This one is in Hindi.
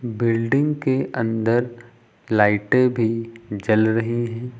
बिल्डिंग के अंदर लाइटें भी जल रही हैं।